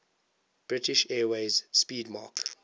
british airways 'speedmarque